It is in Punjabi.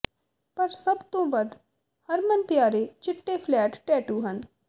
ਪਰ ਸਭ ਤੋਂ ਵੱਧ ਹਰਮਨਪਿਆਰੇ ਚਿੱਟੇ ਫਲੈਟ ਟੈਟੂ ਹਨ